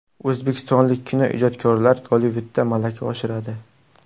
O‘zbekistonlik kinoijodkorlar Gollivudda malaka oshiradi.